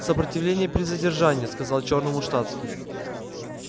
сопротивление при задержании сказал чёрному штатский